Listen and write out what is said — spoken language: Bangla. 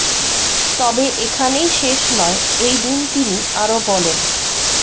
তবে এখানেই শেষ নয় এই দিন তিনি আরো বলেন